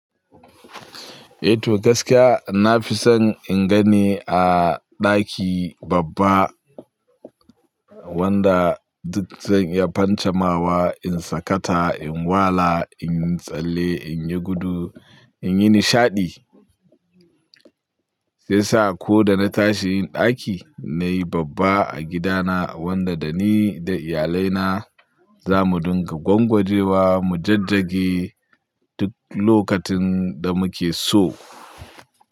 Eh to gaskiya na fi son in gani a daki babba. Wanda duk zan iya fancamawa, in sakata, in wala, in yi tsalle, in yi gudu, in yi nishadi. Ya sa ko da na tashi yin ɗaki nayi babba a gida na wanda da ni da iyalai na zamu dinga gwangwaje wa, mu jajjage duk lokacin da muke so.